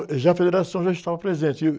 já a federação já estava presente. E, uh...